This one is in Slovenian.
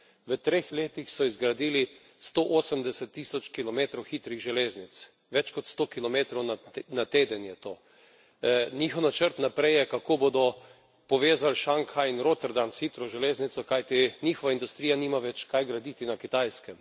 V treh letih so izgradili 180 tisoč kilometrov hitrih železnic, več kot 100 kilometrov na teden je to! Njihov načrt naprej je, kako bodo povezali Šanghaj in Rotterdam s hitro železnico, kajti njihova industrija nima več kaj graditi na Kitajskem.